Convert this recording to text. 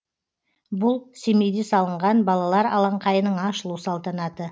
бұл семейде салынған балалар алаңқайының ашылу салтанаты